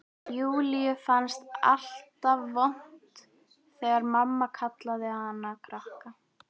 Júlíu fannst alltaf vont þegar mamma kallaði hana krakkann.